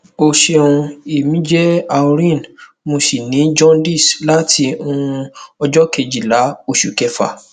o ṣeun emi je aureen mo si ni jaundice lati um ọjọ kejila osu kefa